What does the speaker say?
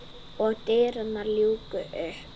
Og dyrnar ljúkast upp.